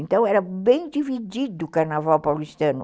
Então, era bem dividido o carnaval paulistano.